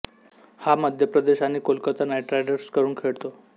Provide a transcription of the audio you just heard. हा मध्य प्रदेश आणि कोलकाता नाईट रायडर्सकडून खेळतो